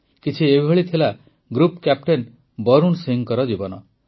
କିଛି ଏଭଳି ଥିଲା ଗୃପ୍ କ୍ୟାପ୍ଟେନ୍ ବରୁଣ ସିଂଙ୍କ ଜୀବନ